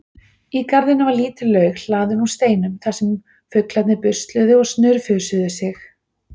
Í garðinum var lítil laug hlaðin úr steinum þar sem fuglarnir busluðu og snurfusuðu sig.